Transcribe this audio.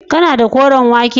kana da koren wake